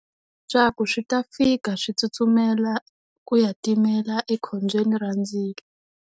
Swa ku swi ta fika swi tsutsumela ku ya timela ekhombyeni ra ndzilo.